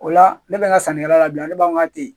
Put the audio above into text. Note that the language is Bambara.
O la ne bɛ n ka sannikɛla labila ne b'an ka ten